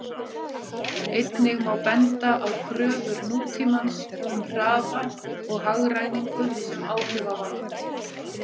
Einnig má benda á kröfur nútímans um hraða og hagræðingu sem áhrifavald.